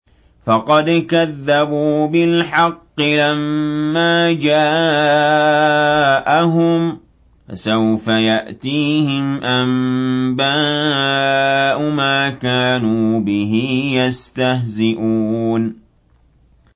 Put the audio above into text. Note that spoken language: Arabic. فَقَدْ كَذَّبُوا بِالْحَقِّ لَمَّا جَاءَهُمْ ۖ فَسَوْفَ يَأْتِيهِمْ أَنبَاءُ مَا كَانُوا بِهِ يَسْتَهْزِئُونَ